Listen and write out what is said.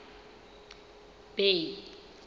bay